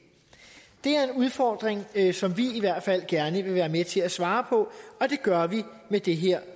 er en udfordring som vi i hvert fald gerne vil være med til at svare på og det gør vi med det her